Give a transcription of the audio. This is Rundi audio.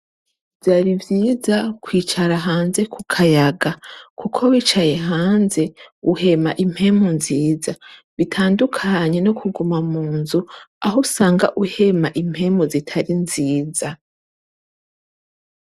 Vyari vyiza kwicara hanze ku kayaga kuko wicaye hanze uhema impemu nziza, bitandukanye no kuguma munzu ahusanga uhema impemu zitari nziza.